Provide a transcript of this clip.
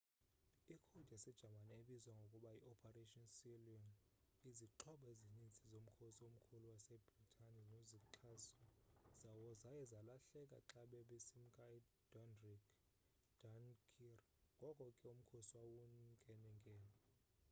i code yase-jamani ebizwa ngokuba yi operation sealion”.izixhobo ezinintsi zomkhosi omkhulu wase britane nozixhaso zawo zaye zalahleka xa babesimka e-dunkirk ngoko ke umkhosi wawunkenenkene